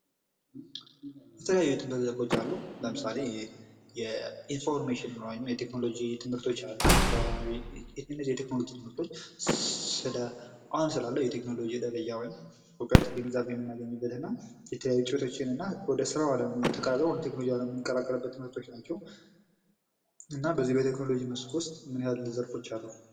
የተለያዩ ትምህርቶች አሉ ለምሳሌ የኢንፎርሜሽን ወይም የቴክኖሎጂ ትምህርቶች አሉ። እነዚህ የቴክኖሎጂ ትምህርቶች አሁን ስላለው የቴክኖሎጂ ደረጃ እውቀት ግንዛቤ የምናገኝበት እና የተለያዩ ጥረቶችና ወደ ስራው አለም ተቀላቅለው ወደ ቴክኖሎጂው አለም የምንቀላቀልበት ትምህርቶች ናቸው። እና በዚህ በቴክኖሎጂ መስክ ውስጥ ምን ያህል ዘርፎች አሉ።